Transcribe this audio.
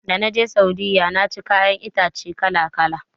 Dana je Saudiyya naci kayan itatuwa kala-kala.